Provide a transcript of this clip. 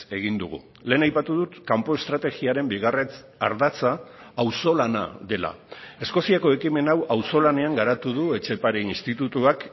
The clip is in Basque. egin dugu lehen aipatu dut kanpo estrategiaren bigarren ardatza auzolana dela eskoziako ekimen hau auzolanean garatu du etxepare institutuak